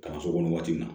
Kalanso kɔnɔ waati min na